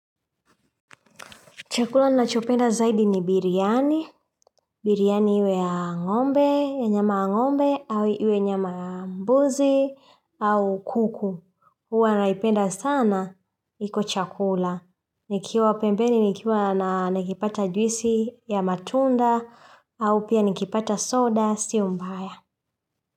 Chakula ninachopenda zaidi ni biryani, biryani iwe ya ngombe, ya nyama ya ngombe, au iwe nyama mbuzi, au kuku. Huwa naipenda sana, iko chakula. Nikiwa pembeni, nikiwa na nakipata juisi ya matunda, au pia nikipata soda, sio mbaya.